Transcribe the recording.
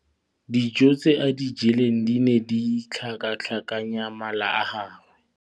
Dijô tse a di jeleng di ne di tlhakatlhakanya mala a gagwe.